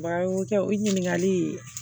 Wa o kɛ o ɲininkali